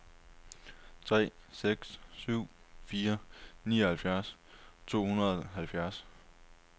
tre seks syv fire nioghalvfjerds to hundrede og treoghalvfjerds